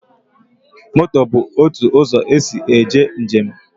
Moto bụ otu ụzọ esi eje njem